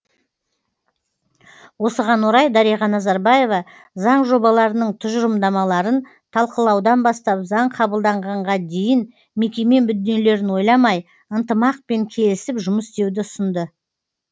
осыған орай дариға назарбаева заң жобаларының тұжырымдамаларын талқылаудан бастап заң қабылданғанға дейін мекеме мүдделерін ойламай ынтымақпен келісіп жұмыс істеуді ұсынды